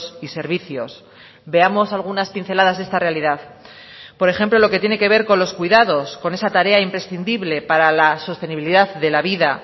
y servicios veamos algunas pinceladas de esta realidad por ejemplo lo que tiene que ver con los cuidados con esa tarea imprescindible para la sostenibilidad de la vida